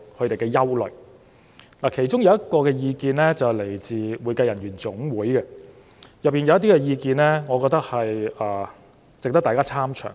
當中來自香港會計人員總會的意見，我覺得值得大家參詳。